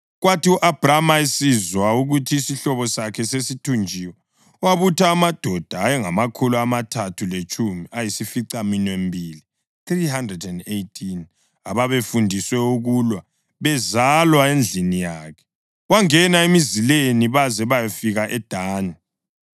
Kwathi u-Abhrama esizwa ukuthi isihlobo sakhe sasithunjiwe, wabutha amadoda ayengamakhulu amathathu letshumi layisificaminwembili (318) ababefundiswe ukulwa, bezalwa endlini yakhe, wangena emzileni baze bayafika eDani.